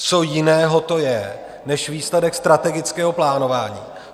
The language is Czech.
Co jiného to je než výsledek strategického plánování?